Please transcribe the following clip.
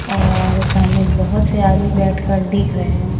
और सामने बहुत से आदमी बैठकर देख रहे हैं।